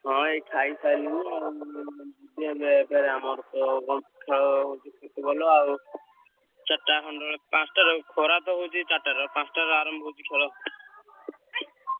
ହଁ ଏଇ ଖାଇସାଇଲିଣି ଆଉ ଯିବି ଏବେ ଫେରେ ଆମର ତ କଣ ଖେଳ Football ଆଉ ଚାରିଟା ଖଣ୍ଡ ବେଳେ ପାଞ୍ଚଟାରେ ଖରା ତ ହଉଛି ଚାରିଟାରେ ପାଞ୍ଚଟାରେ ଆରମ୍ଭ ହଉଛି ଖେଳ।